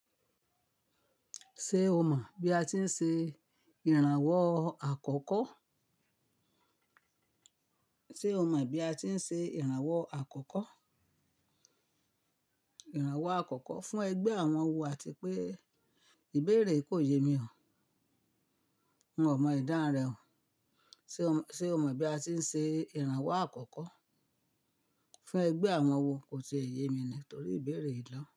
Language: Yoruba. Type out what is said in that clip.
Ṣé o mọ̀ bí a ti ń ṣe ìrànwọ́ àkọ́kọ́. Sé o mọ̀ bí a ti ń ṣe ìrànwọ́ àkọ́kọ́? Ìrànwọ́ àkọ́kọ́ fún ẹgbẹ́ àwọn wo? Àti pé ìbéèrè yìí kò yé mi o. N ò mọ ìdáhùn rẹ̀ o. Sé o mọ̀ bí a ti ń ṣe ìrànwọ́ àkọ́kọ́ fún ẹgbẹ́ àwọn wo? Kò tiẹ̀ yé mi ni torí ìbéèrè yìí lọ́.